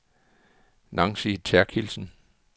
Nancy Therkildsen